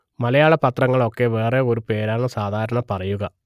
മലയാള പത്രങ്ങൾ ഒക്കെ വേറെ ഒരു പേരാണ് സാധാരണ പറയുക